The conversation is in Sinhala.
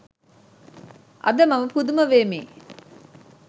අද මම පුදුම වෙමි